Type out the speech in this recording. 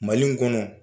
Mali in kɔnɔ